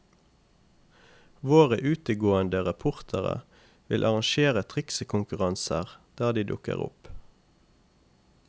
Våre utegående reportere vil arrangere triksekonkurranser der de dukker opp.